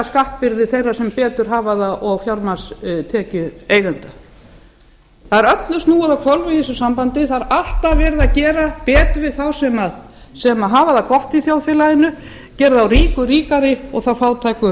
skattbyrði þeirra sem hafa það betra og af fjármagnstekjueigendum það er öllu snúið á hvolf í þessu sambandi það er alltaf verið að gera betur við þá sem hafa það gott í þjóðfélaginu gera þá ríku ríkari og þá fátæku